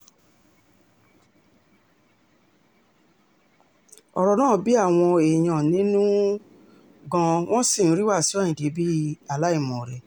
ọ̀rọ̀ náà bí àwọn èèyàn nínú um gan-an wọ́n sì ń rí wàṣíù ayíǹde bí um aláìmoore